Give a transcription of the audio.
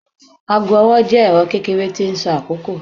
aago ọwọ jẹ ẹrọ kekere ti n sọ akoko.